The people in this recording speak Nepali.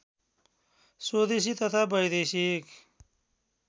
स्वदेशी तथा वैदेशिक